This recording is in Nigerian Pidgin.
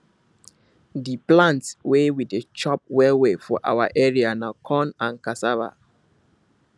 di plant wey we dey chop well well for our area na corn and cassava